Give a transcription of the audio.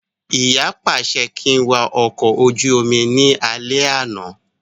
Ìyá pàṣẹ kí n wà ọkọ̀ ojú omi ní alẹ́ àná